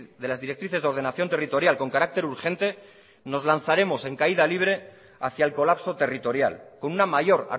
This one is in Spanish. de las directrices de ordenación territorial con carácter urgente nos lanzaremos en caída libre hacia el colapso territorial con una mayor